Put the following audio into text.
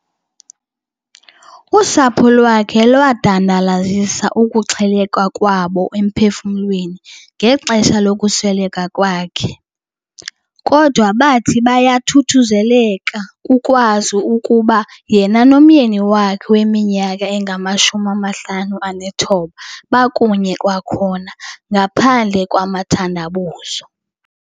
Usapho lwakhe lwadandalazisa ukuxheleka kwabo emphefumlweni ngexesha lokusweleka kwakhe, kodwa bathi bayathuthuzeleka kukwazi ukuba yena nomyeni wakhe weminyaka engama-59 bakunye kwakhona ngaphandle kwamathandabuzo.